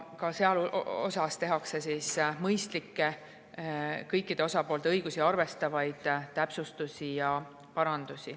Ka selles osas tehakse mõistlikke, kõikide osapoolte õigusi arvestavaid täpsustusi ja parandusi.